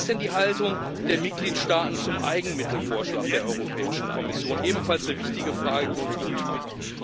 Wie ist denn die Haltung der Mitgliedstaaten zum Eigenmittelvorschlag der Europäischen Kommission? Das ist ebenfalls eine wichtige Frage, die uns umtreibt.